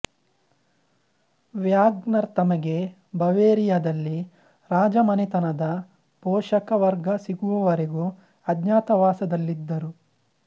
WagonR ತಮಗೆ ಬವೆರಿಯಾದಲ್ಲಿ ರಾಜಮನೆತನದ ಪೋಷಕ ವರ್ಗ ಸಿಗುವವರೆಗೂ ಅಜ್ಞಾತವಾಸದಲ್ಲಿದ್ದರು